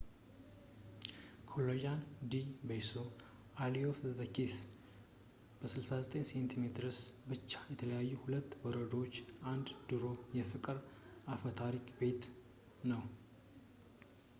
callejon del beso alley of the kiss። በ69 ሴንቲሜትርስ ብቻ የተለያዩ ሁለት በረንዳዎች የአንድ ድሮ የፍቅር አፈታሪክ ቤት ነው